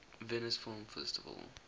venice film festival